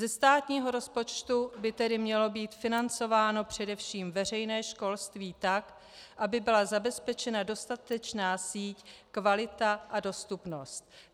Ze státního rozpočtu by tedy mělo být financováno především veřejné školství tak, aby byla zabezpečena dostatečná síť, kvalita a dostupnost.